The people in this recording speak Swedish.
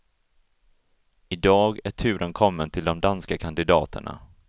Idag är turen kommen till de danska kandidaterna.